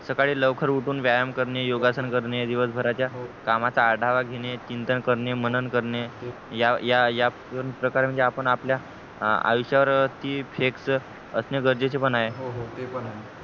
सकाळी लवकर उठून व्यायाम करणे योगा सन करणे दिवस भाराच्या कामाचा आढावा घेणे चिंतन करणे मनन करणे या या प्रकारे आपण आपल्या आयुष्या वरती flex असणे गरजेचे पण आहे